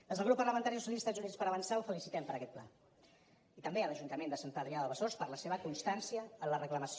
des del grup parlamentari socialistes i units per avançar el felicitem per aquest pla i també a l’ajuntament de sant adrià de besòs per la seva constància en la reclamació